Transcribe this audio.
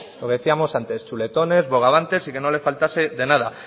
lo decíamos antes entre chuletones bogavantes y que no le faltase de nada